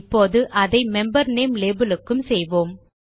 இப்போது அதை member name label க்கும் செய்வோம்